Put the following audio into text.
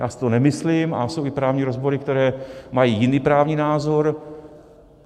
Já si to nemyslím, a jsou i právní rozbory, které mají jiný právní názor.